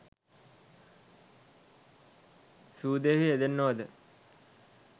සූදුවෙහි යෙදෙන්නෝ ද